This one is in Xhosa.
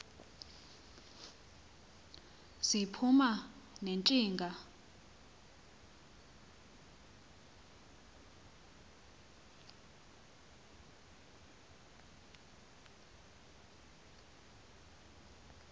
ziphuma ne ntshinga